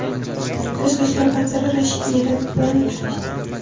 Tashqi ishlar vaziri Rashid Meredov bilan uchrashdi.